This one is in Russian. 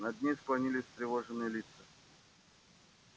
над ней склонились встревоженные лица